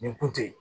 Nin kun tɛ yen